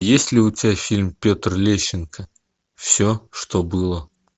есть ли у тебя фильм петр лещенко все что было